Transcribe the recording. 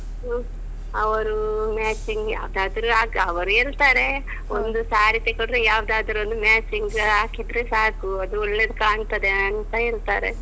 ಹ್ಮ್. ಅವ್ರು matching ಯಾವದಾದ್ರು ಹಾಕ್ ಅವರು ಹೇಳ್ತಾರೆ. ಒಂದು ಸಾರಿ ತೆಕೊಂಡ್ರೆ ಯಾವ್ದಾದ್ರು ಒಂದು matching ಹಾಕಿದ್ರೆ ಸಾಕು. ಅದು ಒಳ್ಳೇದು ಕಾಣ್ತದೆ ಅಂತ ಹೇಳ್ತಾರೆ.